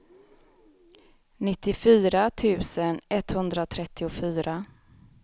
nittiofyra tusen etthundratrettiofyra